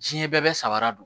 Diɲɛ bɛɛ bɛ samara don